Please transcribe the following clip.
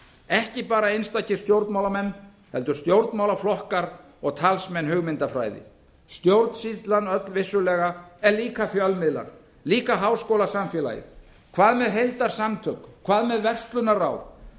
ekki bara einstakir stjórnmálamenn heldur stjórnmálaflokkar og talsmenn hugmyndafræði stjórnsýslan öll vissulega en líka fjölmiðlar líka háskólasamfélagið hvað með heildarsamtök hvað með verslunarráð